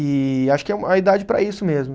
E acho que é uma idade para isso mesmo.